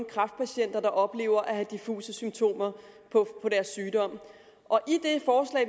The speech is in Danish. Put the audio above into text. kræftpatienter der oplever at have diffuse symptomer på deres sygdom